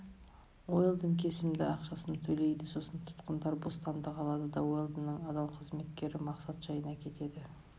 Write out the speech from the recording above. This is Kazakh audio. уэлдон кесімді ақшасын төлейді сосын тұтқындар бостандық алады да уэлдонның адал қызметкері мақсат жайына кетеді